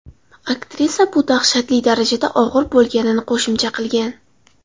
Aktrisa bu dahshatli darajada og‘ir bo‘lganini qo‘shimcha qilgan.